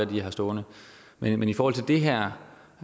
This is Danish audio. de har stående men i forhold til det her